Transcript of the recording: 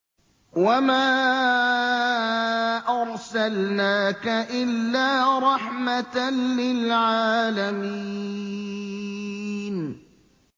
وَمَا أَرْسَلْنَاكَ إِلَّا رَحْمَةً لِّلْعَالَمِينَ